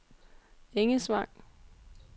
Engesvang